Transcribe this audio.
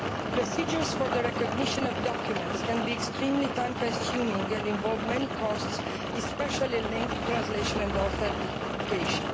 Procedures for the recognition of documents can be extremely time consuming and involve many costs, especially with regard to translation and authentication.